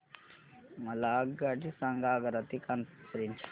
मला आगगाडी सांगा आग्रा ते कानपुर पर्यंत च्या